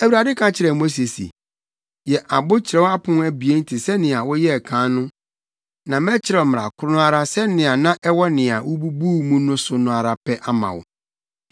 Awurade ka kyerɛɛ Mose se, “Yɛ abo kyerɛw apon abien te sɛ nea woyɛɛ kan no na mɛkyerɛw mmara koro no ara sɛnea na ɛwɔ nea wububuu mu no so ara pɛ ama wo.